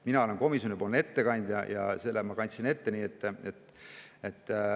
Mina olen komisjoni ettekandja ja selle ma kandsin ette.